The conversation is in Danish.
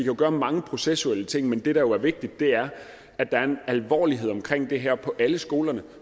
jo gøre mange processuelle ting men det der jo er vigtigt er at der er en alvorlighed omkring det her på alle skolerne